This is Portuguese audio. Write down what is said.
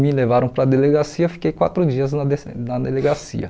Me levaram para a delegacia, fiquei quatro dias na des na delegacia.